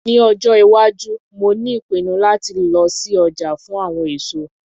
Ní ọjọ́ - iwájú mo ní ìpinnu láti lọ sí ọjà fún àwọn èso